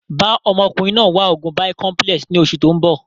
Bàa ọmọkùnrin náà wá oògùn Bicomplex ni oṣù tóun bọ̀